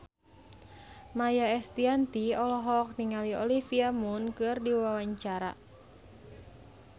Maia Estianty olohok ningali Olivia Munn keur diwawancara